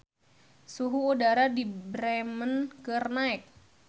Suhu udara di Bremen keur naek